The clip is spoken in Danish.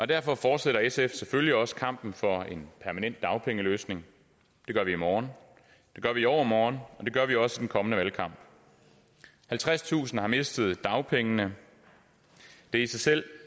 derfor fortsætter sf selvfølgelig også kampen for en permanent dagpengeløsning det gør vi i morgen det gør vi i overmorgen og det gør vi også i den kommende valgkamp halvtredstusind har mistet deres dagpenge det er i sig selv